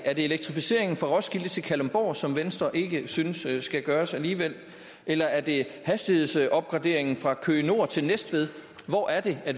elektrificeringen fra roskilde til kalundborg som venstre ikke synes skal gøres alligevel eller er det hastighedsopgraderingen fra køge nord til næstved hvor er det